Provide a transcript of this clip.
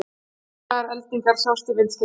Miklar eldingar sjást í myndskeiðinu